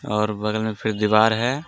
और बगल मे फिर दिवाल हे.